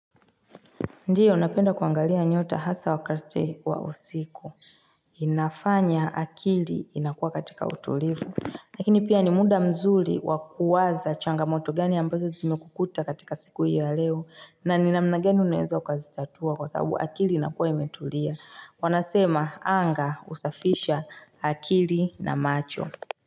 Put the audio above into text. Ndio, napenda kuangalia nyota, hasa wakati wa usiku. Inafanya akili, inakuwa katika utulivu. Lakini pia ni muda mzuri, wa kuwaza changamoto gani ambazo zimekukuta katika siku hii ya leo. Na ni namna gani unaweza ukazitatua kwa sababu akili inakuwa imetulia. Wanasema, anga husafisha akili na macho.